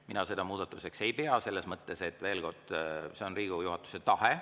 Mina seda muudatuseks ei pea, selles mõttes, veel kord, et see on Riigikogu juhatuse tahe.